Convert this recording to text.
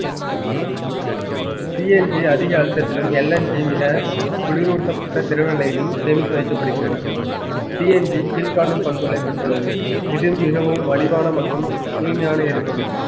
CNG அதிக அழுத்தத்திலும் LNG மிக குளிரூட்டப்பட்ட திரவ நிலையிலும் சேமித்து வைக்கப்படுகின்றன CNG கீழ்காணும் பண்புகளை பெற்றுள்ளது இது மிகவும் மலிவான மற்றும் தூய்மையான எரிபொருள்